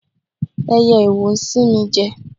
Ẹyẹ iwo sín mi jẹ.